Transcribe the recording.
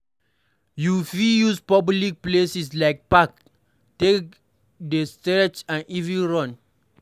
you fit use public places like park take do stretches and even run